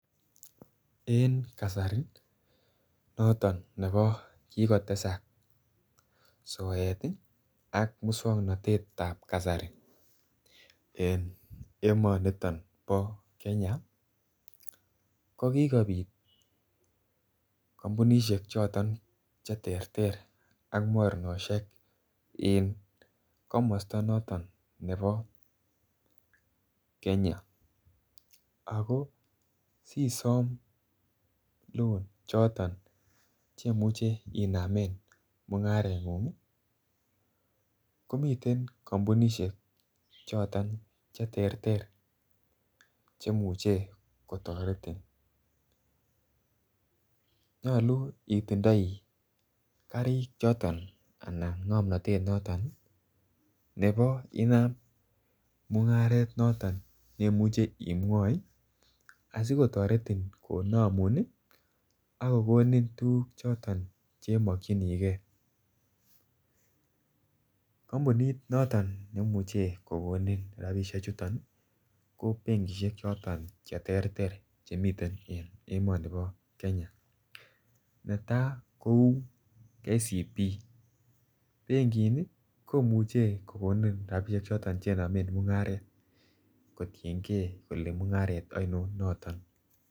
En Kasari noton nebo kigotesak soet ii ak muswognotetab kasari en emoniton bo Kenya ko kikopit kompunishek choton the terter ak mornoshek en komosto noton nebo Kenya, ako sisom loan choton chemuchi inamen mungarengun ii komiten kompunishek choton che terter chemuche kotoretin nyoluu itindoi karik choton anan ngomnotet noton nebo inam mungaret noton nemuche imwoi asi kotoretin konomun ak kogonin tuguk choton che mokyingee. Kompunit noton nemuche kogonin rabishek chuton ko benkishek choton che terter chemiten en emonibo Kenya, netaa kouu KCB benkini komuche kogonin rabishek choton che nomen mungaret kotiengee kole mungaret oinon noton